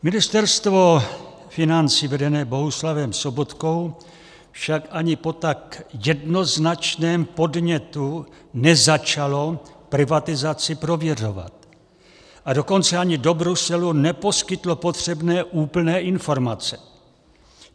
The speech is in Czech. Ministerstvo financí vedené Bohuslavem Sobotkou však ani po tak jednoznačném podnětu nezačalo privatizaci prověřovat, a dokonce ani do Bruselu neposkytlo potřebné úplné informace.